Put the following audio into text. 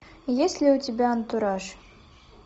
есть ли у тебя антураж